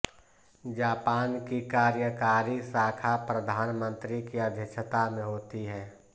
Japan की कार्यकारी शाखा प्रधानमंत्री की अध्यक्षता में होता है